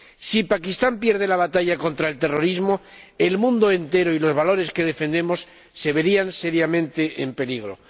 Si Pakistán pierde la batalla contra el terrorismo, el mundo entero y los valores que defendemos se verían seriamente en peligro.